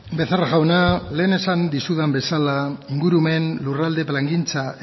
becerra jauna lehen esan dizudan bezala ingurumen lurralde plangintza